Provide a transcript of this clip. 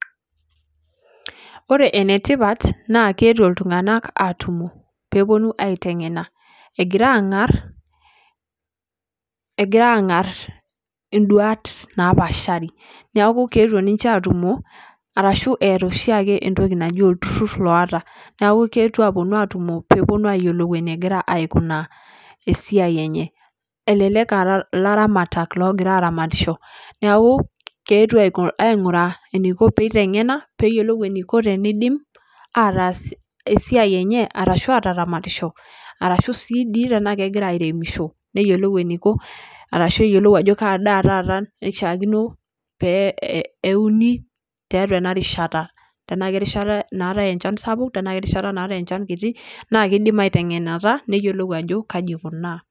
Ore ene tipat naa keetuo iltunganak atumo peeponu aitengena , egira angar , egira angar induat napaashari. Niaku keetuo ninche atumo arashu eeta oshiaake ntoki naji olturur loota . Neaku keetuo aponu atumo peeponu ayiolou enegira esiai enye . Elelek aa ilaramatak logira aramatisho, neeku keetuo ainguraa eniko peitengena peyiolou eniko tenidim ataas esiai enye ashu ataramatisho arashu sii dii tenaa kegira airemisho , neyiolou eninko arashu eyiolou ajo kaa daa taata naishiaakino pee euni tiatua ena rishata , tenaa kerishata naatae enchan sapuk tenaa kerishata naatae enchan kiti , naa kidim aitengenata neyiolou ajo kaji eikunaa .